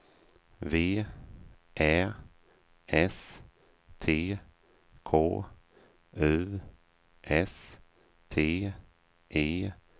V Ä S T K U S T E N